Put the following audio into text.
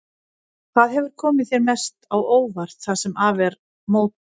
Hvað hefur komið þér mest á óvart það sem af er móti?